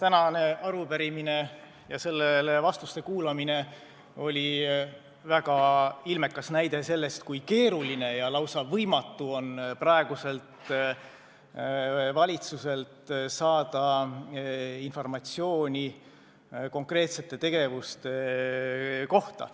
Tänane arupärimine ja vastuste kuulamine on väga ilmekas näide sellest, kui keeruline ja lausa võimatu on saada praeguselt valitsuselt informatsiooni konkreetsete tegevuste kohta.